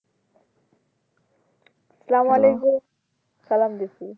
স্লামালেকুম সালাম দিছি